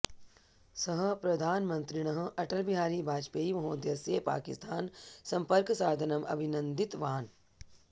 सः प्रधानमन्त्रिणः अटल बिहारी वजपेयी महोदयस्य पाकिस्थान सम्पर्कसाधनम् अभिनन्दितवान्